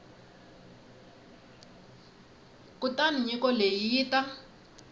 kutani nyiko leyi yi ta